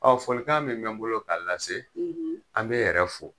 folikan min bɛ n bolo k'a lase, an b'e yɛrɛ fo.